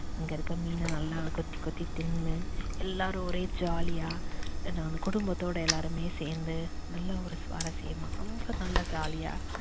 அங்க இருக்குற மீன நல்லா கொத்தி கொத்தி தின்னு எல்லாரும் ஒரே jolly யா அந்த குடும்பத்தோட எல்லாருமே சேர்ந்து நல்ல ஒரு சுவாரசியமா ரொம்ப நல்லா jolly யா